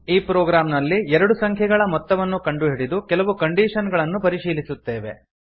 ಈ ಪ್ರೊಗ್ರಾಮ್ ನಲ್ಲಿ ಎರಡು ಸಂಖ್ಯೆಗಳ ಮೊತ್ತವನ್ನು ಕಂಡುಹಿಡಿದು ಕೆಲವು ಕಂಡೀಶನ್ ಗಳನ್ನು ಪರಿಶೀಲಿಸುತ್ತೇವೆ